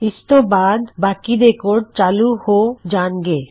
ਇਸਤੋਂ ਬਾਆਦ ਬਾਕੀ ਦੇ ਕੋਡ ਚਾਲੂ ਹੋ ਜਾਣਗੇ